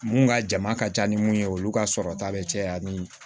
Mun ka jama ka ca ni mun ye olu ka sɔrɔ ta bɛ caya ni